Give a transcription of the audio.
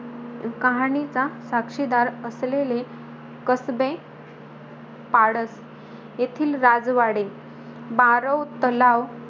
कहाणीचा साक्षीदार असलेले कसबे पाडत येथील राजवाडे, बारव तलाव,